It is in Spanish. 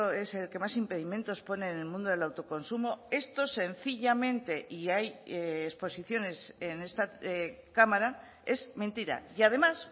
es el que más impedimentos pone en el mundo del autoconsumo esto sencillamente y hay exposiciones en esta cámara es mentira y además